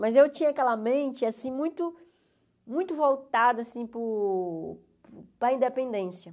Mas eu tinha aquela mente assim muito muito voltada assim para o para a independência.